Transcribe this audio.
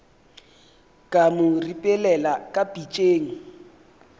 ka mo ripelela ka pitšeng